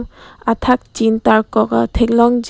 athak chin tarkok ta thek long ji.